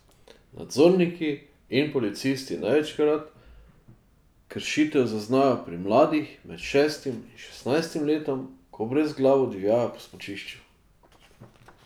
Nadzorniki in policisti največ kršitev zaznajo pri mladih med šestim in šestnajstim letom, ko brezglavo divjajo po smučišču.